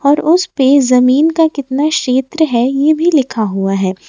और उसपे जमीन का कितना क्षेत्र है ये भी लिखा हुआ है।